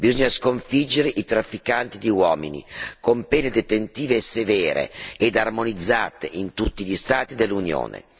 bisogna sconfiggere i trafficanti di uomini, con pene detentive e severe ed armonizzate in tutti gli Stati dell'Unione.